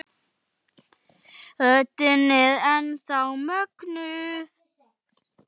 Fjaran var torgið í dalnum.